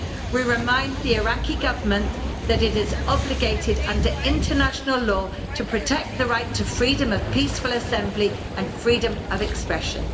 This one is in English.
We remind the Iraqi Government that it is obligated under international law to protect the right to freedom of peaceful assembly and freedom of expression.